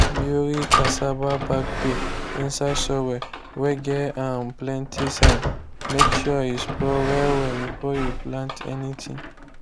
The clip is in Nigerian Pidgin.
bury cassava back peel inside soil whey get um plenty sand make sure he spoil well well before you plant anything.